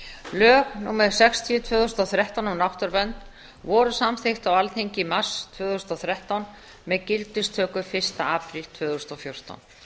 lög númer sextíu tvö þúsund og þrettán um náttúruvernd voru samþykkt á alþingi í mars tvö þúsund og þrettán með gildistöku fyrsta apríl tvö þúsund og fjórtán